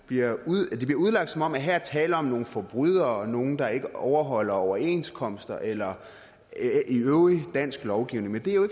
bliver udlagt som om der her er tale om nogle forbrydere og nogle der ikke overholder overenskomster eller øvrig dansk lovgivning men det er jo